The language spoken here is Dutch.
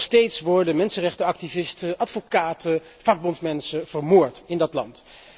Nog steeds worden mensenrechtenactivisten, advocaten, vakbondsmensen vermoord in dat land.